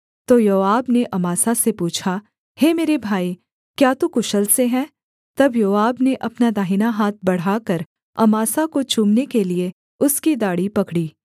तो योआब ने अमासा से पूछा हे मेरे भाई क्या तू कुशल से है तब योआब ने अपना दाहिना हाथ बढ़ाकर अमासा को चूमने के लिये उसकी दाढ़ी पकड़ी